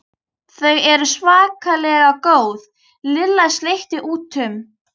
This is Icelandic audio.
Þau eru svakalega góð Lilla sleikti út um.